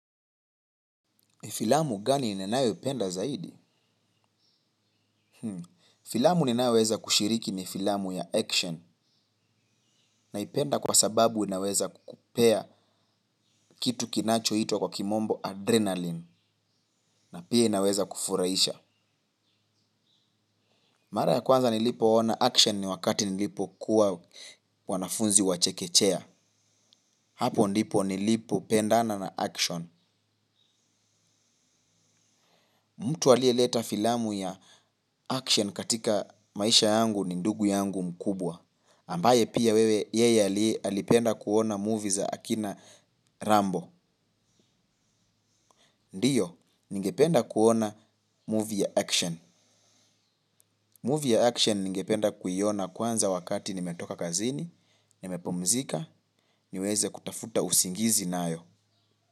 Filamu gani ninayopenda zaidi? Filamu ninayoweza kushiriki ni filamu ya action, naipenda kwa sababu inaweza kukupea kitu kinachoitwa kwa kimombo adrenaline na pia inaweza kufurahisha. Mara ya kwanza nilipoona action ni wakati nilipokuwa mwanafunzi wa chekechea. Hapo ndipo nilipopendana na action. Mtu aliyeleta filamu ya action katika maisha yangu ni ndugu yangu mkubwa. Ambaye pia wewe yeye alipenda kuona movie za akina Rambo. Ndiyo, ningependa kuona movie ya action. Movie ya action ningependa kuiona kwanza wakati nimetoka kazini nimepumzika, niweze kutafuta usingizi nayo.